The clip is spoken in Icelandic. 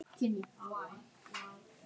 Ég er giftur maður.